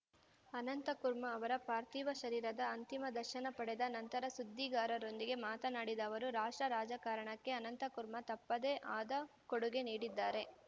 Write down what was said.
ಅನಂತಕುರ್ಮಾ ಅವರ ಪಾರ್ಥಿವ ಶರೀರದ ಅಂತಿಮ ದರ್ಶನ ಪಡೆದ ನಂತರ ಸುದ್ದಿಗಾರರೊಂದಿಗೆ ಮಾತನಾಡಿದ ಅವರು ರಾಷ್ಟ್ರ ರಾಜಕಾರಣಕ್ಕೆ ಅನಂತಕುರ್ಮಾ ತಮ್ಮದೇ ಆದ ಕೊಡುಗೆ ನೀಡಿದ್ದಾರೆ